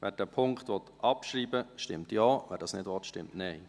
Wer diesen Punkt abschreiben will, stimmt Ja, wer das nicht will, stimmt Nein.